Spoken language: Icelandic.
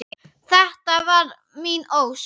. þetta var mín ósk.